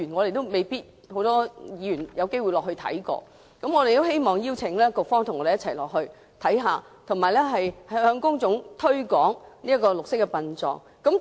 目前未必很多議員有機會參觀，我們希望邀請局方與我們一同前往參觀，以及向公眾推廣綠色殯葬。